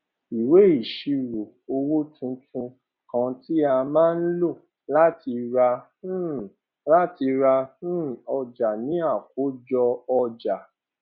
ìwé ìṣírò owó tuntun kan tí a má ń lò láti ra um láti ra um ọjà ni àkójọ ọjà